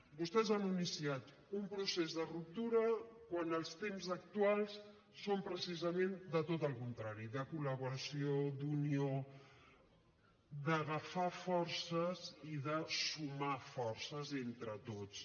vostès han iniciat un procés de ruptura quan els temps actuals són precisament de tot el contrari de col·laboració d’unió d’agafar forces i de sumar forces entre tots